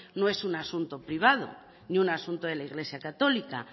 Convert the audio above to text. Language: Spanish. no es un asunto privado ni un asunto de la iglesia católica